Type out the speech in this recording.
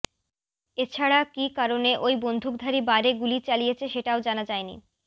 এছাড়া কী কারণে ওই বন্দুকধারী বারে গুলি চালিয়েছে সেটাও জানা যায়নি